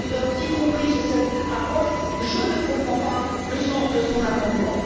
Andrew Duff, y compris sur cette approche, je ne comprends pas le sens de son amendement.